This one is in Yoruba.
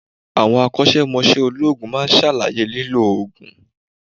Àwọn akósémosé olóòògùn ma ṣàlàyé lílò òògùn